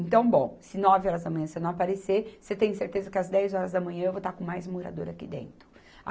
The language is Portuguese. Então bom, se nove horas da manhã você não aparecer, você tem certeza que às dez horas da manhã eu vou estar com mais morador aqui dentro.